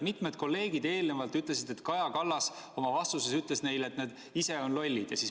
Mitu kolleegi eelnevalt ütles, et Kaja Kallas oma vastuses ütles neile, et nad ise on lollid.